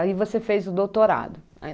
Aí você fez o doutorado.